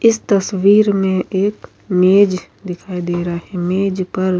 اس تشویک مے ایک مج دکھائی دے رہا ہے۔ مج پر --